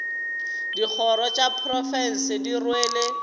dikgoro tša profense di rwele